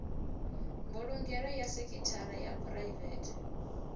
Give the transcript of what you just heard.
mbulungelo ya sekhithara ya phuraivethe